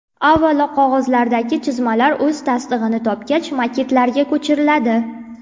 Avvalo qog‘ozlardagi chizmalar o‘z tasdig‘ini topgach maketlarga ko‘chiriladi.